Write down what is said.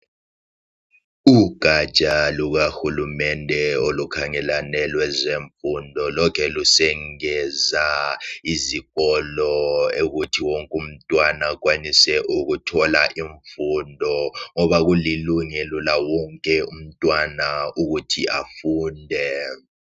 Ujatsha lukahulumende olukhangelane lezemfundo lokhe lusengeza izikolo ukuthi wonke umntwana akwanise ukuthola imfundo ngoba kulilungelo lawonke umntwana ukuthi afunde